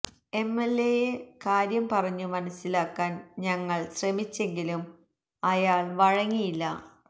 M L A യെ കാര്യം പറഞ്ഞു മനസ്സിലാക്കാൻ ഞങ്ങൾ ശ്രമിച്ചെങ്കിലും അയാൾ വഴങ്ങിയില്ല